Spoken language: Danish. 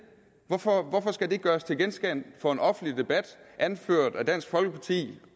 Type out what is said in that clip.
hvorfor hvorfor skal det gøres til genstand for en offentlig debat anført af dansk folkeparti